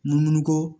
Numu ko